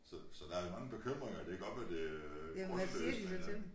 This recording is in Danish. Så så der mange bekymringer det kan godt være det øh grundløst men øh